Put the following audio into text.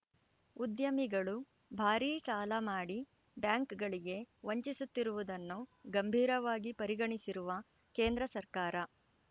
ಉದ್ಯಮಿಗಳು ಭಾರೀ ಸಾಲ ಮಾಡಿ ಬ್ಯಾಂಕ್‌ಗಳಿಗೆ ವಂಚಿಸುತ್ತಿರುವುದನ್ನು ಗಂಭೀರವಾಗಿ ಪರಿಗಣಿಸಿರುವ ಕೇಂದ್ರ ಸರ್ಕಾರ